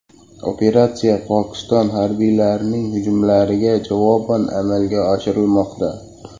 Operatsiya Pokiston harbiylarining hujumlariga javoban amalga oshirilmoqda.